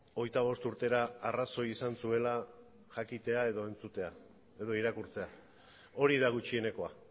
hogeita bost urtera arrazoi izan zuela jakitea entzutea edo irakurtzea hori da gutxienekoa